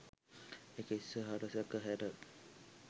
ඒක ඉස්සරහට සැක හැර